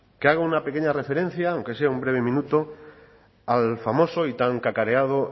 que haga una pequeña referencia aunque sea un breve minuto al famoso y tan cacareado